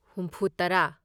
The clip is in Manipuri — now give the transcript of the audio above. ꯍꯨꯨꯝꯐꯨꯇꯔꯥ